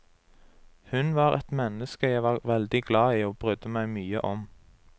Hun var et menneske jeg var veldig glad i og brydde meg mye om.